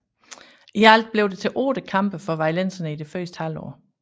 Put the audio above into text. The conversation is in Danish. I alt blev det til otte kampe for vejlenserne i det første halvår